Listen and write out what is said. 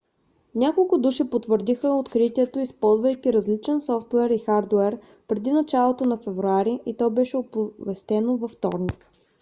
няколко души потвърдиха откритието използвайки различен софтуер и хардуер преди началото на февруари и то беше оповестено във вторник